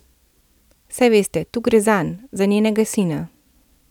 Saj veste, tu gre zanj, za njenega sina.